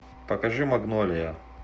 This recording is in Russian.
покажи магнолия